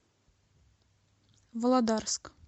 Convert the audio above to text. володарск